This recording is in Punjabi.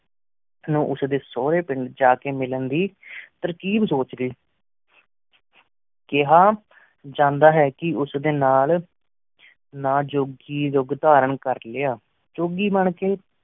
ਉਸ ਡੀ ਸੂਰੀ ਪਿੰਡ ਜਾ ਮਿਲੰਦ ਦੀ ਤੇਰ੍ਕਿਬ ਸੁਚ ਦੀ ਕਿਹਾਂ ਜਾਂਦਾ ਹੈਂ ਕੀ ਉਸ ਡੀ ਨਾਲ ਨਾਜੋਘੀ ਰੂਪ ਧਾਰਨ ਕਰ ਲਇਆ ਝੁਘੀ ਬਣ ਕੀ